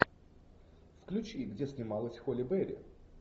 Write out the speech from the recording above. включи где снималась холли берри